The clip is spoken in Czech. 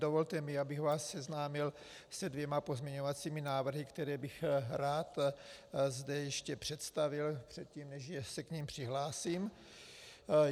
Dovolte mi, abych vás seznámil se dvěma pozměňovacími návrhy, které bych zde rád ještě představil předtím, než se k nim přihlásím.